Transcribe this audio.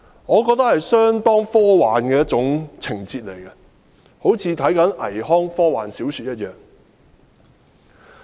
我認為這是相當科幻的一種情節，好像看倪匡的科幻小說一樣。